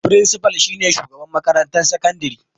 Firinsifal shi ne Shugaban makarantar sakandare.